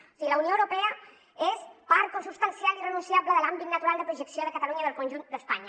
o sigui la unió europea és part consubstancial i irrenunciable de l’àm·bit natural de projecció de catalunya i del conjunt d’espanya